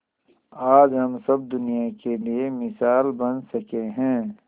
आज हम सब दुनिया के लिए मिसाल बन सके है